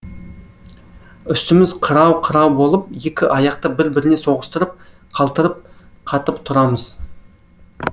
үстіміз қырау қырау болып екі аяқты бір біріне соғыстырып қалтырап қатып тұрамыз